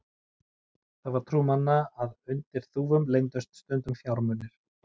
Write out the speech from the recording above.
það var trú manna að undir þúfum leyndust stundum fjármunir